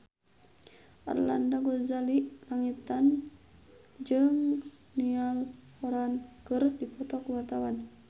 Arlanda Ghazali Langitan jeung Niall Horran keur dipoto ku wartawan